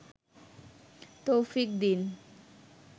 তৌফিক দিন